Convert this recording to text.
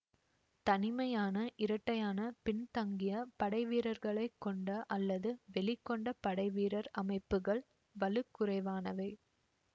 தனிமையான இரட்டையான பின்தங்கிய படைவீரர்களைக் கொண்ட அல்லது வெளிகொண்ட படைவீரர் அமைப்புக்கள் வலுக்குறைவானவை